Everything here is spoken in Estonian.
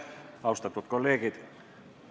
Austatud kolleegid!